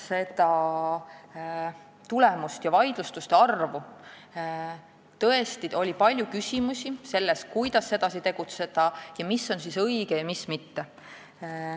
Tõesti tuli palju küsimusi selle kohta, kuidas edasi tegutseda ning mis on õige ja mis mitte.